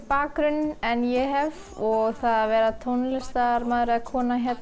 bakgrunn en ég hef og það að vera tónlistarmaður eða kona